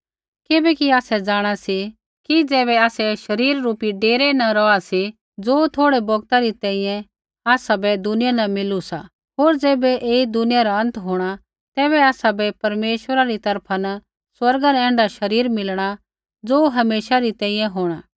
किबैकि आसै जाँणा सी कि ज़ैबै आसै शरीर रूपी डेरै न रौहा सी ज़ो थोड़ै बौगता री तैंईंयैं आसाबै दुनिया न मिलु सा होर ज़ैबै ऐई दुनिया रा अंत होंणा तैबै आसाबै परमेश्वरै री तरफा न स्वर्गा न ऐण्ढा शरीर मिलणा ज़ो हमेशा री तैंईंयैं होंणा